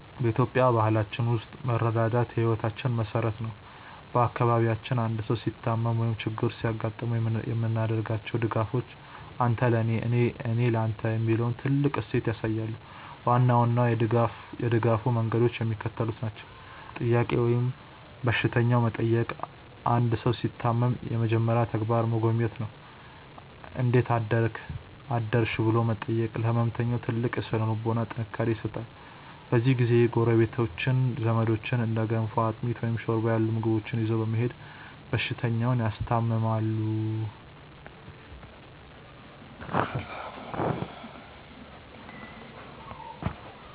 በኢትዮጵያዊ ባህላችን ውስጥ መረዳዳት የሕይወታችን መሠረት ነው። በአካባቢያችን አንድ ሰው ሲታመም ወይም ችግር ሲገጥመው የምናደርጋቸው ድጋፎች "አንተ ለኔ፣ እኔ ለተ" የሚለውን ጥልቅ እሴት ያሳያሉ። ዋና ዋናዎቹ የድጋፍ መንገዶች የሚከተሉት ናቸው፦ "ጥያቄ" ወይም በሽተኛ መጠየቅ አንድ ሰው ሲታመም የመጀመሪያው ተግባር መጎብኘት ነው። "እንዴት አደርክ/ሽ?" ብሎ መጠየቅ ለሕመምተኛው ትልቅ የሥነ-ልቦና ጥንካሬ ይሰጣል። በዚህ ጊዜ ጎረቤቶችና ዘመዶች እንደ ገንፎ፣ አጥሚት፣ ወይም ሾርባ ያሉ ምግቦችን ይዘው በመሄድ በሽተኛውን ያስታምማሉ።